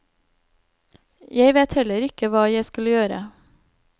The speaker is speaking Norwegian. Jeg vet heller ikke hva jeg skal gjøre.